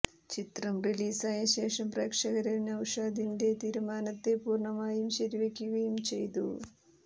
ചിത്രം റിലീസായ ശേഷം പ്രേക്ഷകര് നൌഷാദിന്റെ തീരുമാനത്തെ പൂര്ണമായും ശരിവെയ്ക്കുകയും ചെയ്തു